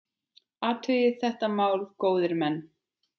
Athugið þetta mál, góðir menn!